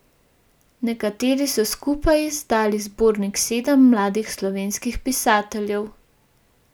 Nekateri so skupaj izdali zbornik Sedem mladih slovenskih pisateljev.